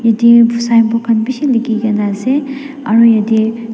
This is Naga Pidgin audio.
dear saibo khan bisi likhe kina ase aru jatte--